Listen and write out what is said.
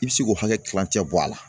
I bi se k'o hakɛ kilancɛ bɔ a la